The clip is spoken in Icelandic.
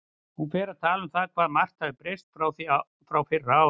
Hún fer að tala um það hvað margt hafi breyst frá því fyrir ári.